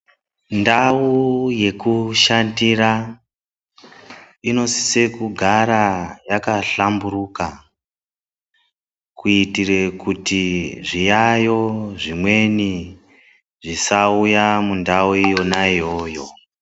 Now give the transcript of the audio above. Ndawu yekushandira inosisa kugara yakahlamburika, kuitira kuti zviyayo zvimweni zvisauya mundau yona iyoyo.